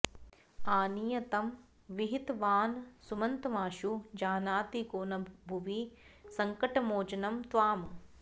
आनीय तं विहितवानसुमन्तमाशु जानाति को न भुवि सङ्कटमोचनं त्वाम्